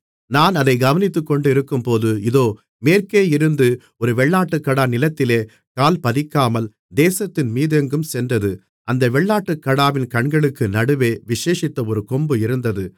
நான் அதைக் கவனித்துக்கொண்டிருக்கும்போது இதோ மேற்கேயிருந்து ஒரு வெள்ளாட்டுக்கடா நிலத்திலே கால்பதிக்காமல் தேசத்தின்மீதெங்கும் சென்றது அந்த வெள்ளாட்டுக்கடாவின் கண்களுக்கு நடுவே விசேஷித்த ஒரு கொம்பு இருந்தது